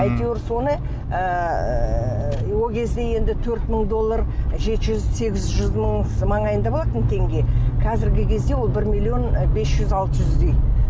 әйтеуір соны ыыы ол кезде енді төрт мын доллар жеті жүз сегіз жүз мың маңайында болатын теңге қазіргі кезде ол бір милллион бес жүз алты жүздей